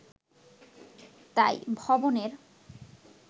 তাই 'ভবন'-এর